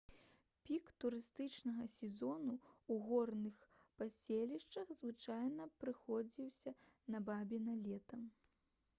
пік турыстычнага сезону ў горных паселішчах звычайна прыходзіўся на бабіна лета